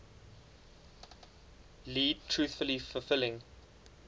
lead truly fulfilling